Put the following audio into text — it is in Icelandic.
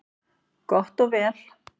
Gott og vel,